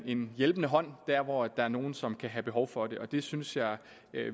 en hjælpende hånd der hvor der er nogle som kan have behov for det det synes jeg